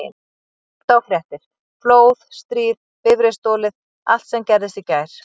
Og hlusta á fréttir: flóð, stríð, bifreið stolið allt sem gerðist í gær.